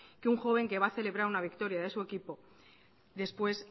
que un joven que va a celebrar una victoria de su equipo después